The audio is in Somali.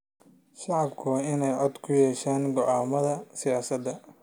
Shacabku waa in ay cod ku yeeshaan go�aamada siyaasadeed.